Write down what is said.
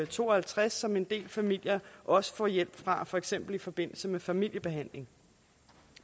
to og halvtreds som en del familier også får hjælp fra for eksempel i forbindelse med familiebehandling